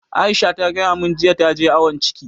Aisha ta gaya mun jiya ta je awon ciki